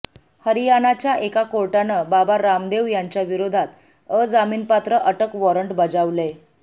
हरियाणाच्या एका कोर्टानं बाबा रामदेव यांच्याविरोधात अजामीनपात्र अटक वॉरंट बजावलंय